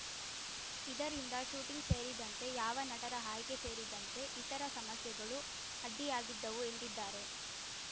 ಇದರಿಂದ ಶೂಟಿಂಗ್‌ ಸೇರಿದಂತೆ ಯಾವ ನಟರ ಆಯ್ಕೆ ಸೇರಿದಂತೆ ಇತರ ಸಮಸ್ಯೆಗಳು ಅಡ್ಡಿಯಾಗಿದ್ದವು ಎಂದಿದ್ದಾರೆ